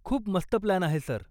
खूप मस्त प्लान आहे, सर.